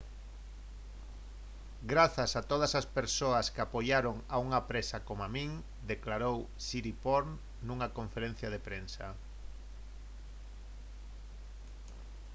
«grazas a todas as persoas que apoiaron a unha presa coma min» declarou siriporn nunha conferencia de prensa